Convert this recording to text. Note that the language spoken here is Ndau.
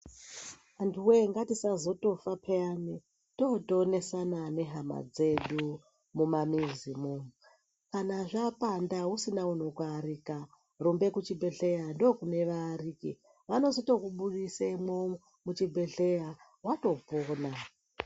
Antuwee ngatisazotofa peyani tootonesana nehama dzedu mumamizimwo. Kana zvapanda usina anokuarika, rumbe kuchibhedhleya, ndookune vaariki. Vano tozokubudise mwo muchibhehleya watopona.